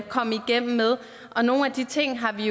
komme igennem med og nogle af de ting har vi